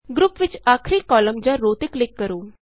group ਵਿਚ ਆਖਰੀ column ਜਾਂ ਰੋਅ ਤੇ ਕਲਿਕ ਕਰੋ